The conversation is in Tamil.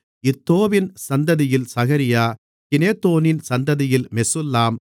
இத்தோவின் சந்ததியில் சகரியா கிநேதோனின் சந்ததியில் மெசுல்லாம்